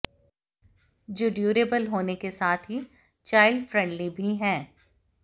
जो ड्यूरेबल होने के साथ ही चाइल्ड फ्रेंडली भी हैं